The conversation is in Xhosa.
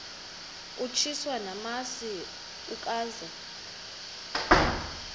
utyiswa namasi ukaze